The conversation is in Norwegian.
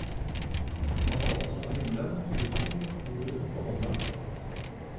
Han var opptatt av himmelen, luften, jorden og vannet.